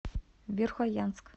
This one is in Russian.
верхоянск